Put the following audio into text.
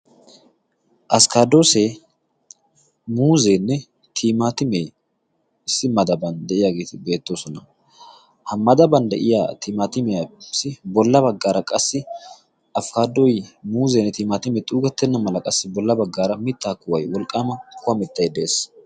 askkadoosee muuzeenne tiimaatime issi madaban de'iyaagee beettoosona ha madaban de'iya tiimaatimiyaassi bolla baggaara qassi afikadoy muuzeenne tiimaatime xuugettenna mala qassi bolla baggaara mittaa kuway wolqqaama kuwa mittay de'ees